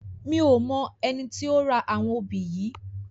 Mi ó mò èni ti ó rá áwòn óbi yi